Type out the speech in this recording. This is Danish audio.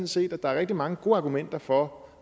set at der rigtig mange gode argumenter for